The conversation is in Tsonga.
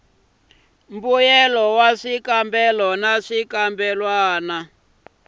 mbuyelo wa swikambelo na swikambelwana